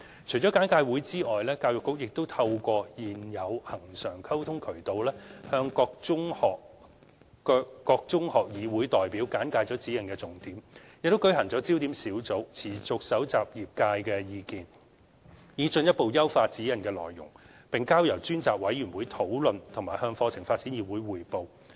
除簡介會外，教育局亦透過現有恆常溝通渠道向各中學議會代表簡介指引的重點，又舉行焦點小組，持續蒐集業界的意見，以進一步優化《指引》的內容，並交由專責委員會討論和向課程發展議會匯報。